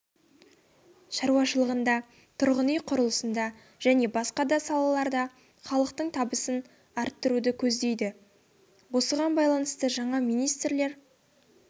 шаруашылығында тұрғын-үй құрылысында және басқа да салаларда халықтың табысын арттыруды көздейді осыған байланысты жаңа министрлер